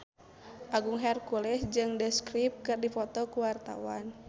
Agung Hercules jeung The Script keur dipoto ku wartawan